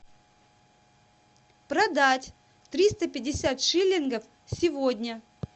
продать триста пятьдесят шиллингов сегодня